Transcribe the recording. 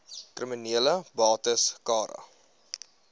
kriminele bates cara